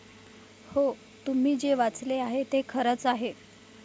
हो, तुम्ही जे वाचले आहे ते खरच आहे.